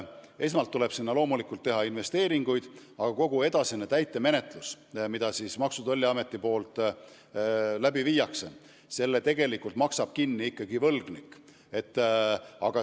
Esmalt tuleb loomulikult teha investeeringuid, aga kogu edasise täitemenetluse, mis Maksu- ja Tolliametis läbi viiakse, tegelikult maksab kinni ikkagi võlgnik.